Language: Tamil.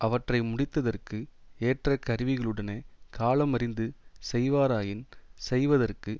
அவற்றை முடித்ததற்கு ஏற்ற கருவிகளுடனே காலமறிந்து செய்வாராயின் செய்வதற்கு